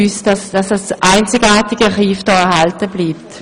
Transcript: Wir müssen alles tun, damit dieses einzigartige Archiv erhalten bleibt.